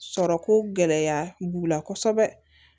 Sɔrɔ ko gɛlɛya b'u la kosɛbɛ